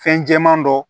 Fɛn jɛman dɔ